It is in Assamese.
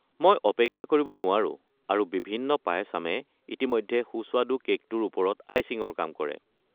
মই অপেক্ষা কৰিব নোৱাৰো আৰু বিভিন্ন পায়াচামে ইতিমধ্যে সুস্বাদু কে'কটোৰ ওপৰত আইচিঙৰ কাম কৰে।